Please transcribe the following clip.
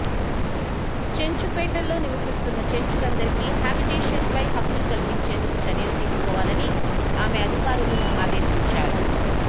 చెంచు పెంటల్లో నివసిస్తున్న చెంచులందరికి హబిటేషన్పై హక్కులు కల్పించేందుకు చర్యలు తీసుకొవాలని ఆమె అదికారులను ఆదేశించా రు